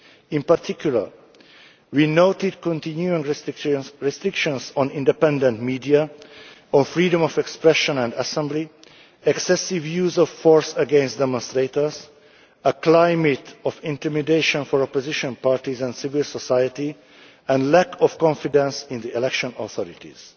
In particular, we noted continuing restrictions on independent media and freedom of expression and assembly, excessive use of force against demonstrators, a climate of intimidation for opposition parties and civil society, and a lack of confidence in the election authorities.